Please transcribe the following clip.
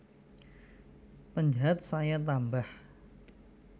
Penjahat saya tambah